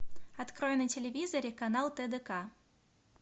открой на телевизоре канал тдк